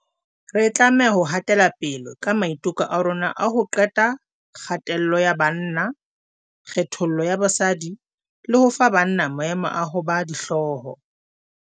Re tlameha ho hatelapele ka maiteko a rona a ho qeta kgatello ka banna, kgethollo ya basadi le ho fa banna maemo a ho ba dihloho.